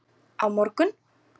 Á morgun